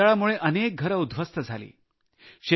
या वादळामुळे अनेक घरे उद्ध्वस्त झाली